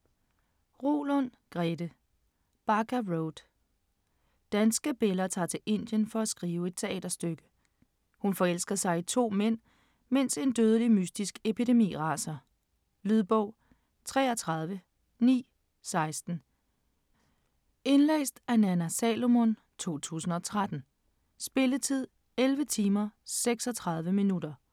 Roulund, Grete: Baga Road Danske Bella tager til Indien for at skrive et teaterstykke. Hun forelsker sig i to mænd mens en dødelig mystisk epidemi raser. Lydbog 33916 Indlæst af Nanna Salomon, 2003. Spilletid: 11 timer, 36 minutter.